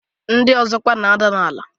Ndị ọzọ kwa na-ada n'ala.